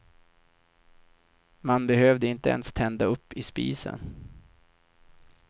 Man behövde inte ens tända upp i spisen.